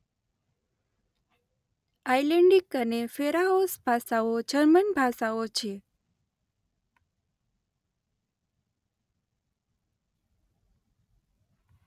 Icelandic અને Faroese ભાષાઓ German ભાષાઓ છે.